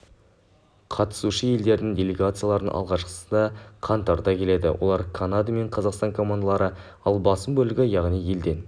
қатысушы елдердің делегациялардың алғашқысы қаңтарда келеді олар канада мен қазақстан командалары ал басым бөлігі яғни елден